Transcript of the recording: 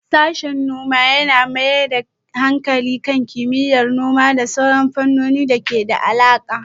Sashen noma ya mayar da hankali kan kimiyyar noma da sauran fannonin da ke da alaƙa.